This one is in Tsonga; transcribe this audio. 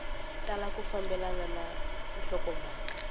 tala ku fambelana na nhlokomhaka